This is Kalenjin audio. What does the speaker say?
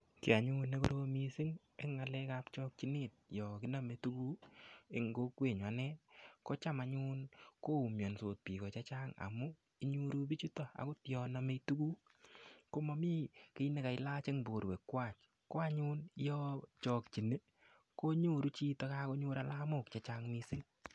Kiy anyun nekorom mising' eng' ng'alek ab chakchinet yo kiname tuguk eng' kokwenyun ane kocham anyun koumiansot piko chechang' amun inyoru pichutok akot yo name tuguk komami kiy nekailach eng' porwek kwach ko yo anyun chakchini konyoru chito anyun kagonyor chito alamok chechang' mising'.